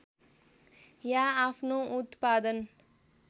या आफ्नो उत्पादन